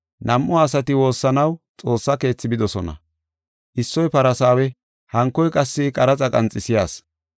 “Nam7u asati woossanaw Xoossa Keethi bidosona. Issoy Farsaawe hankoy qassi qaraxa qanxisiya asi.